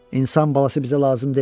İnsan balası bizə lazım deyil.